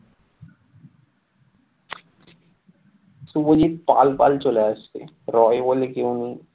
শুভজিৎ পাল পাল চলে আসছে রয় বলে কেউ নেই।